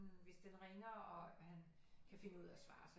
Hvis den ringer og han kan finde ud af at svare så